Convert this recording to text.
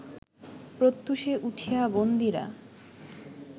প্রত্যূষে উঠিয়া বন্দীরা